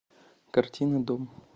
картина дом